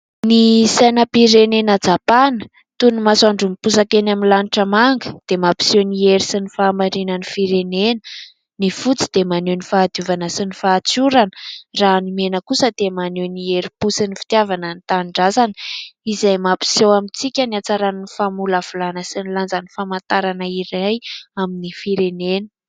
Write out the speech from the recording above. Ny sainam-pirenena japana toy ny masoandro miposaka eny amin'ny lanitra manga dia mampiseho ny hery sy ny fahamarinan'ny firenena. Ny fotsy dia maneho ny fahadiovana sy ny fahatsorana raha ny mena kosa dia maneho ny herim-po sy ny fitiavana ny tanindrazana izay mapiseho amintsika ny hatsaran'ny famolavolana sy ny lanjan'ny famantarana iray amin'ny firenena.